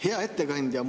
Hea ettekandja!